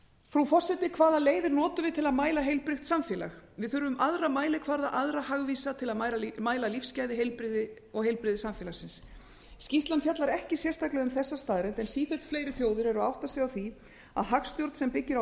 frú forseti hvaða leiðir notum við til að mæla heilbrigt samfélag við þurfum aðra mælikvarða aðra hagvísa til að mæla lífsgæði og heilbrigði samfélagsins skýrslan fjallar ekki sérstaklega um þessa staðreynd en sífellt fleiri þjóðir eru að átta sig á því að hagstjórn sem byggir á